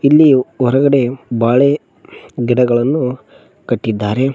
ಇಲ್ಲಿಯು ಹೊರಗಡೆಯು ಬಾಳೆ ಗಿಡಗಳನ್ನು ಕಟ್ಟಿದ್ದಾರೆ.